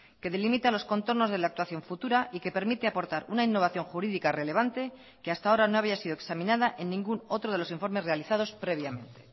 que delimita los contornos de la actuación futura y que permite aportar una innovación jurídica relevante que hasta ahora no había sido examinada en ningún otro de los informes realizados previamente